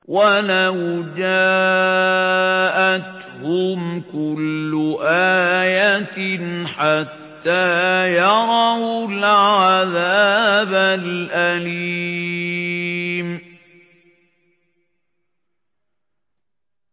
وَلَوْ جَاءَتْهُمْ كُلُّ آيَةٍ حَتَّىٰ يَرَوُا الْعَذَابَ الْأَلِيمَ